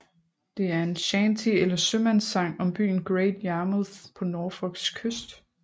Det er en shanty eller sømandssang om byen Great Yarmouth på Norfolks kyst